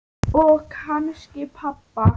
Og kannski pabba.